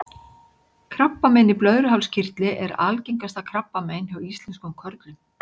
krabbamein í blöðruhálskirtli er algengasta krabbamein hjá íslenskum körlum